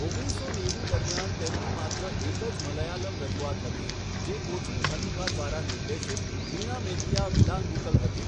ઓગણીસસો નેવું દરમિયાન તેમની માત્ર એક જ મલયાલમ રજૂઆત હતી, જે કોચીન હનીફા દ્વારા નિર્દેશિત વીણા મેત્તિયા વિલાંગુકલ હતી.